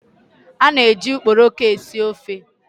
A na-eji ukporoko esi ofe.